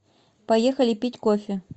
поехали пить кофе